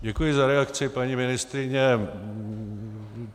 Děkuji za reakci, paní ministryně.